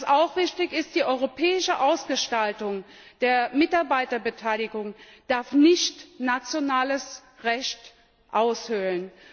Und was auch wichtig ist Die europäische Ausgestaltung der Mitarbeiterbeteiligung darf nicht nationales Recht aushöhlen.